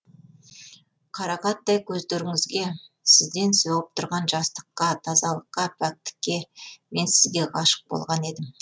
қарақаттай көздеріңізге сізден соғып тұрған жастыққа тазалыққа пәктікке мен сізге ғашық болған едім